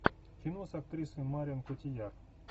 кино с актрисой марион котийяр